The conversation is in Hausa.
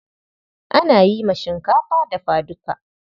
Ana yi ma shinkafa dafa duka.